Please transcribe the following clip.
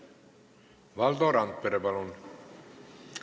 Valdo Randpere, palun!